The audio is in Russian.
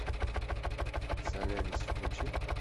солярис включи